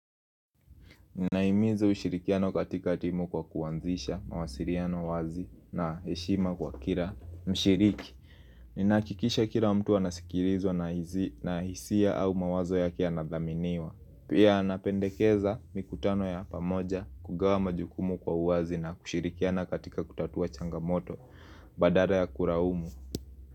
Ninaimiza ushirikiano katika timu kwa kuwanzisha, mawasiriano wazi na heshima kwa kila mshiriki. Ninakikisha kila mtu anasikilizwa na hisia au mawazo yake yanadhaminiwa. Pia anapendekeza mikutano ya pamoja kugawa majukumu kwa uwazi na kushirikiano katika kutatua changamoto badala ya kulaumu.